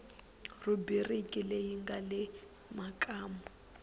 rhubiriki leyi nga le makumu